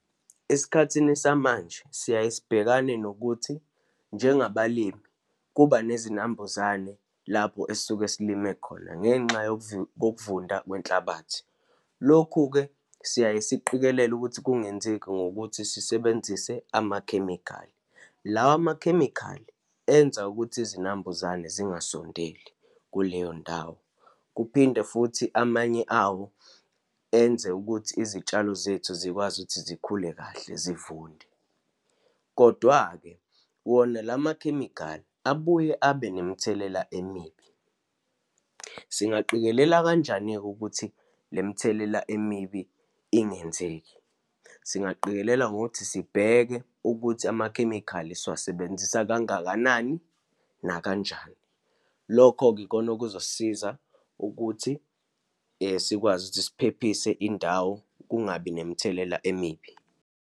Esikhathini samanje siyaye sibhekane nokuthi, njengabalimi kuba nezinambuzane lapho esisuke silime khona ngenxa kokuvunda kwenhlabathi. Lokhu-ke siyaye siqikelele ukuthi kungenzeki ngokuthi sisebenzise amakhemikhali. Lawa makhemikhali enza ukuthi izinambuzane zingasondeli kuleyo ndawo, kuphinde futhi amanye awo enze ukuthi izitshalo zethu zikwazi ukuthi zikhule kahle zivunde. Kodwa-ke wona la makhemikhali abuye abe nemithelela emibi. Singaqikelela kanjani-ke ukuthi lemthelela emibi ingenzeki? Singaqikelela ngokuthi sibheke ukuthi amakhemikhali siwasebenzisa kangakanani, nakanjani. Lokho-ke ikona okuzosiza ukuthi sikwazi ukuthi siphephise indawo, kungabi nemithelela emibi.